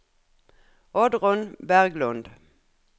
Oddrun Berglund